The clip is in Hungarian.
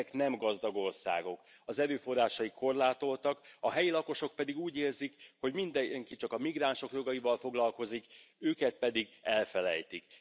Ezek nem gazdag országok, az erőforrásaik korlátoltak, a helyi lakosok pedig úgy érzik, hogy mindenki csak a migránsok jogaival foglalkozik, őket pedig elfelejtik.